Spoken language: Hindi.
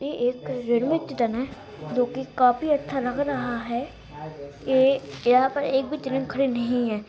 एक रेलवे ट्रैन है जो की काफी अच्छा लग रहा है ये यहाँ पर एक भी ट्रैन खड़ी नहीं है।